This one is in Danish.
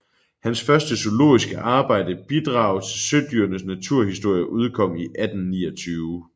Hans første zoologiske arbejde Bidrag til Søedyrenes Naturhistorie udkom 1829